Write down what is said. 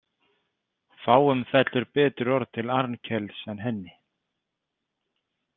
Fáum fellur betur orð til Arnkels en henni.